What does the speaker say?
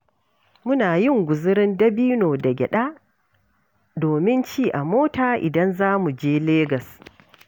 Muna yin guzurin dabino da gyaɗa domin ci a mota, idan za mu je Legas.